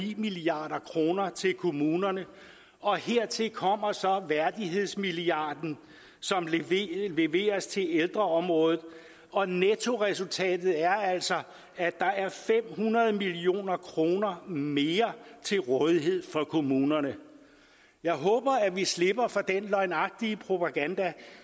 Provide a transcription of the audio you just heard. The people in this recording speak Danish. milliard kroner til kommunerne og hertil kommer så værdighedsmilliarden som leveres til ældreområdet og nettoresultatet er altså at der er fem hundrede million kroner mere til rådighed for kommunerne jeg håber at vi slipper for den løgnagtige propaganda